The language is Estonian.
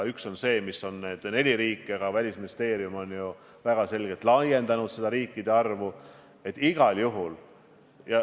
Sinna kuuluvad neli riiki, aga Välisministeerium on väga selgelt seda ringi laiendamas.